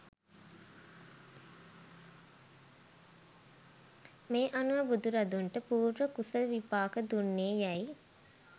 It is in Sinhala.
මේ අනුව බුදුරදුන්ට පූර්ව කුසල විපාක දුන්නේ යැයි